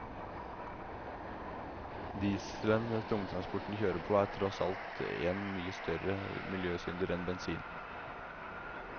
Dieselen tungtransporten kjører på, er tross alt en mye større miljøsynder enn bensin.